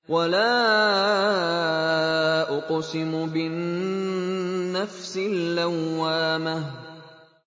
وَلَا أُقْسِمُ بِالنَّفْسِ اللَّوَّامَةِ